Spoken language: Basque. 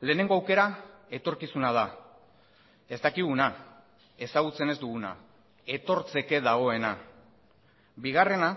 lehenengo aukera etorkizuna da ez dakiguna ezagutzen ez duguna etortzeke dagoena bigarrena